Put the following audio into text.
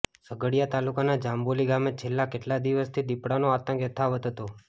ઝઘડિયા તાલુકાના જાંબોલી ગામે છેલ્લા કેટલા દિવસથી દીપડાનો આતંક યથાવત હતો